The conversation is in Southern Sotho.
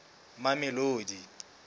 mamelodi